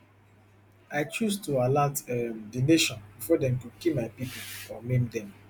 i chose to alert um di nation before dem go kill my people or maim dem